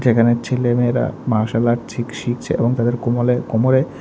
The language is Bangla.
এখানে ছেলেমেয়েরা মার্শাল আর্ট শিখ শিখছে এবং তাদের কোমলে কোমরে--